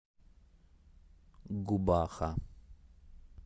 губаха